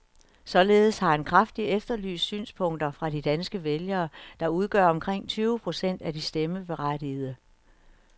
Således har han kraftigt efterlyst synspunkter fra de danske vælgere, der udgør omkring tyve procent af de stemmeberettigede.